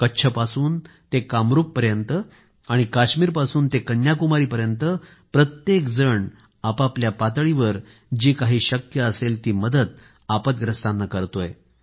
कच्छपासून ते कामरूपपर्यंत आणि काश्मीरपासून ते कन्याकुमारीपर्यंत प्रत्येकजण आपआपल्या पातळीवर जी काही शक्य असेल ती मदत आपद्ग्रस्तांना करतोय